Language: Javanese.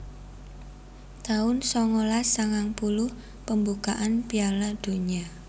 taun songolas sangang puluh Pembukaan Piala Donya